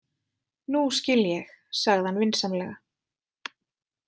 Nú skil ég, sagði hann vinsamlega.